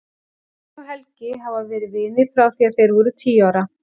Hemmi og Helgi hafa verið vinir frá því að þeir voru tíu ára.